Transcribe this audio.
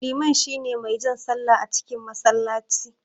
Liman shine mai jan sallah a cikin masallaci.